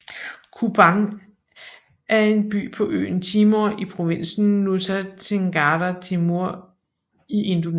Kupang er en by på øen Timor i provinsen Nusa Tenggara Timur i Indonesien